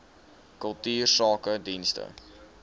kultuursakedienste